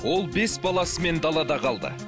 ол бес баласымен далада қалды